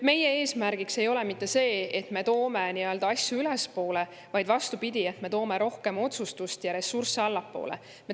Meie eesmärk ei ole mitte see, et me toome nii-öelda asju ülespoole, vaid vastupidi, me toome rohkem otsustust ja ressursse allapoole.